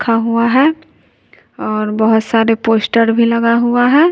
खा हुआ है और बहोत सारे पोस्टर भी लगा हुआ है।